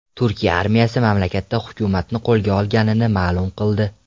Turkiya armiyasi mamlakatda hukumatni qo‘lga olganini ma’lum qildi.